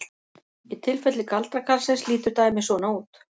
Í tilfelli galdrakarlsins lítur dæmið svona út: